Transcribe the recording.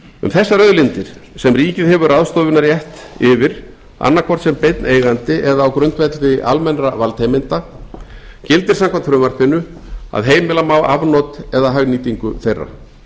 um þessar auðlindir sem ríkið hefur ráðstöfunarrétt yfir annaðhvort sem beinn eigandi eða á grundvelli almennra valdheimilda gildir samkvæmt frumvarpinu að heimila má afnot eða hagnýtingu þeirra